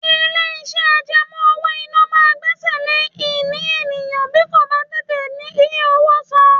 Ilé iṣẹ́ àjẹmó owó-ìná máa ń gbẹ́sẹ̀ lé ìní èèyàn bí kò bá tètè rí owó san.